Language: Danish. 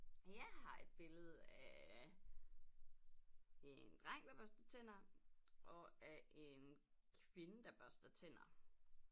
Jeg har et billede af en dreng der børster tænder og af en kvinde der børster tænder